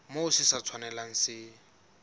moo se sa tshwanelang se